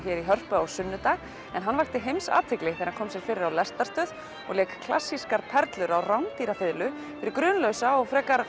hér í Hörpu á sunnudag en hann vakti heimsathygli þegar hann kom sér fyrir á lestarstöð og lék klassískar perlur á rándýra fiðlu fyrir grunlausa og frekar